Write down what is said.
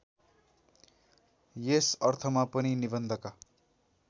यस अर्थमा पनि निबन्धका